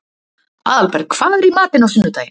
Aðalberg, hvað er í matinn á sunnudaginn?